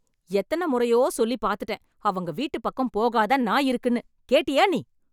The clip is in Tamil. எத்தன மொறையோ சொல்லி பாத்துட்டேன். அவங்க வீட்டு பக்கம் போகாத நாய் இருக்குன்னு, கேட்டியா நீ ?